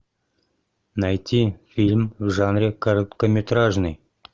найти фильм в жанре короткометражный